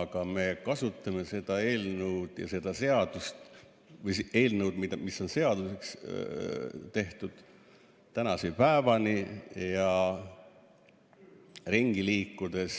Aga me kasutame seda eelnõu, mis on seaduseks tehtud, tänase päevani, ja ringi liikudes